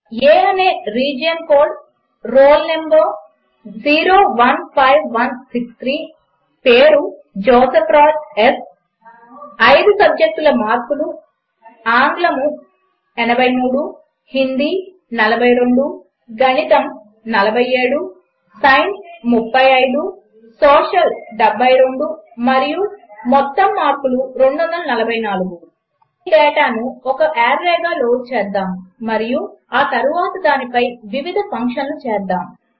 A అనే region code roll number 015163 పేరు Joseph Raj S 5 సబ్జెక్టుల మార్కులు ఆంగ్లము 083 హిందీ 042 గణితము 47 సైన్సు35 సోషల్ 72 మరియు మొత్తం మార్కులు 244 ఈ డేటాను ఒక ఆర్రేగా లోడ్ చేద్దాము మరియు ఆ తరువాత దానిపై వివిధ ఫంక్షన్లు చేద్దాము